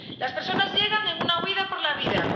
Las personas llegan en una huida por la vida.